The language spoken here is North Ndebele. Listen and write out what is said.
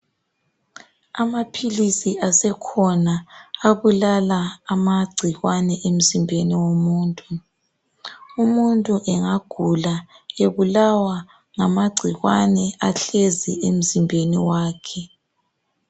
Amaphilisi asekhona abulala amagcikwane emzimbeni womuntu. Umuntu engagula ebulawa ngamagcikwane ahlezi emzimbeni wakhe.